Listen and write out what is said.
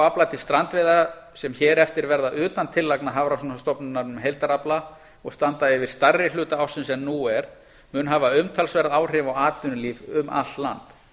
afla til strandveiða sem hér eftir verða utan tillagna hafrannsóknastofnunarinnar um heildarafla og standa yfir stærri hluta ársins en nú er mun hafa umtalsverð áhrif á atvinnulíf um allt land